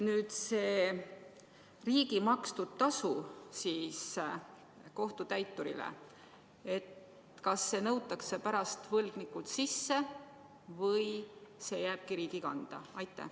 Kas see riigi makstud tasu kohtutäiturile nõutakse pärast võlgnikult sisse või see jääbki riigi kanda?